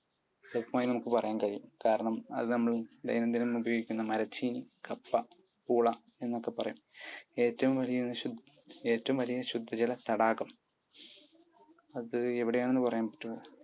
വ്യക്തമായി നമുക്ക് പറയാൻ കഴിയും കാരണം, അത് നമ്മൾ ദൈനം ദിനം ഉപയോഗിക്കുന്ന മരച്ചീനി, കപ്പ, ഊള എന്നൊക്കെ പറയും. ഏറ്റവും വലിയ ശുദ്ധജല തടാകം. അത് എവിടെയാണെന്ന് പറയാൻ പറ്റുമോ?